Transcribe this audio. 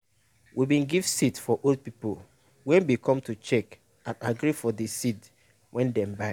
we bin give seat for old people wey bin come to check and agree for de seed wey dem buy.